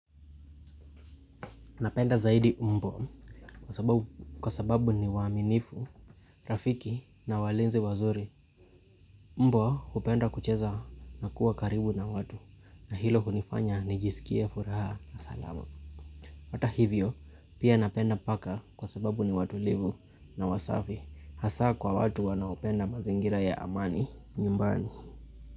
Napenda zaidi mbwa kwa sababu ni waaminifu, rafiki na walinzi wazuri. Mbwa hupenda kucheza na kuwa karibu na watu na hilo hunifanya nijisikie furaha na salama. Hata hivyo pia napenda paka kwa sababu ni watulivu na wasafi hasa kwa watu wanaopenda mazingira ya amani nyumbani.